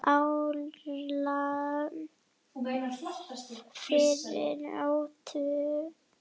árla fyrir óttu